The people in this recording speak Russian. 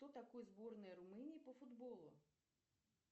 что такое сборная румынии по футболу